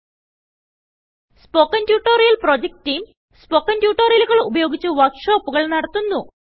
spoken tutorial project team spoken ട്യൂട്ടോറിയലുകൾ ഉപയോഗിച്ച് വർക്ക് ഷോപ്പുകൾ നടത്തുന്നു